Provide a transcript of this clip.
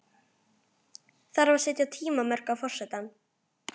Þarf að setja tímamörk á forsetann?